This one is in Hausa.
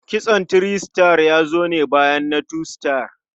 Kitson three star ya zo ne bayan na two star.